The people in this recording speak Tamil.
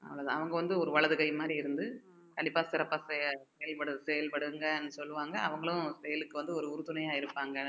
அவ்வளவுதான் அவங்க வந்து ஒரு வலது கை மாதிரி இருந்து கண்டிப்பா சிறப்பா செயல்~ செயல்படு~ செயல்படுங்கன்னு சொல்லுவாங்க அவங்களும் செயலுக்கு வந்து ஒரு உறுதுணையாய் இருப்பாங்க